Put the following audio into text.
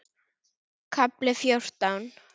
KAFLI FJÓRTÁN